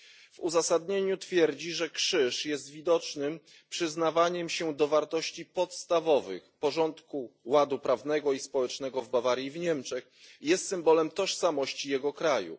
W uzasadnieniu twierdzi, że krzyż jest widocznym znakiem przyznawania się do wartości podstawowych, porządku, ładu prawnego i społecznego w Bawarii i w Niemczech, jest symbolem tożsamości jego kraju.